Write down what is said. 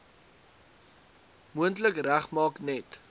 moontlik regmaak net